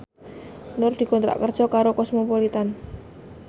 Nur dikontrak kerja karo Cosmopolitan